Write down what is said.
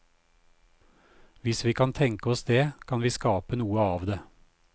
Hvis vi kan tenke oss det, kan vi skape noe av det.